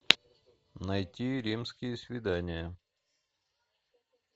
найти римские свидания